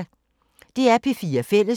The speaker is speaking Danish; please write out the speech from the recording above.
DR P4 Fælles